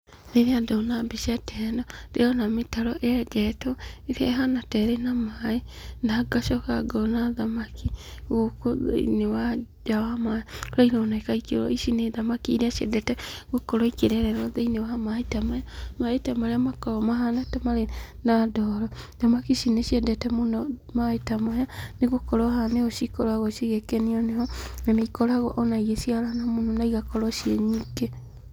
Rĩrĩa ndona mbica ta ĩno, ndĩrona mĩtaro , yenjetwo ĩrĩa ĩhana ta ĩna maaĩ ,na ngacoka ngona thamaki gũkũ thĩiniĩ wa maaĩ , na ironeka ikĩ, ici nĩ thamaki iria ciendete gũkorwo ikĩrererwo thĩiniĩ wa maaĩ maya, maaĩ marĩa makoragwo ta mahana ta marĩ ndoro, thamaki ici nĩ ceindete mũno maaĩ ta maya, nĩgũkorwo haha nĩho cikoragwo igĩkenio nĩho na nĩ ikoragwo ikĩciarana mũno na igakorwo cii nyingĩ.